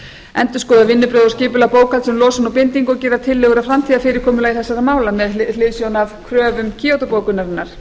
endurskoðun vinnubrögð og skipulegt bókhald um losun og bindingu og gera tillögur um framtíðarfyrirkomulag þessara mála með hliðsjón af kröfum kyoto bókunarinnar